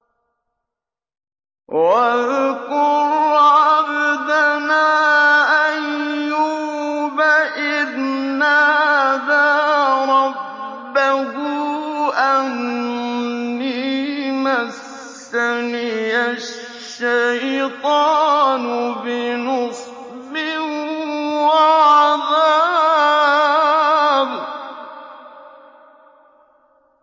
وَاذْكُرْ عَبْدَنَا أَيُّوبَ إِذْ نَادَىٰ رَبَّهُ أَنِّي مَسَّنِيَ الشَّيْطَانُ بِنُصْبٍ وَعَذَابٍ